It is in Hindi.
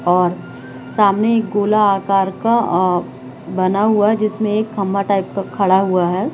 और सामने एक गोला आकर का अ बना हुआ है जिसमें एक खम्बा टाइप का खड़ा हुआ है।